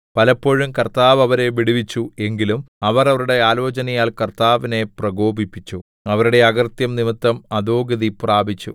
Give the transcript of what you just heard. പലപ്പോഴും കർത്താവ് അവരെ വിടുവിച്ചു എങ്കിലും അവർ അവരുടെ ആലോചനയാൽ കർത്താവിനെ പ്രകോപിപ്പിച്ചു അവരുടെ അകൃത്യം നിമിത്തം അധോഗതി പ്രാപിച്ചു